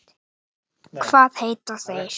Teymir hana til hliðar.